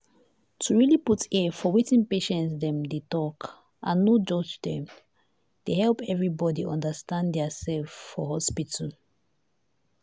to really put ear for wetin patients dem dey talk and no judge dem dey help everybody understand their self for hospital.